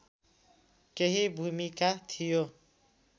केही भूमिका थियो